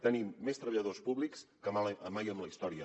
tenim més treballadors públics que mai en la història